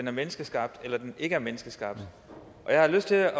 er menneskeskabte eller ikke er menneskeskabte og jeg har lyst til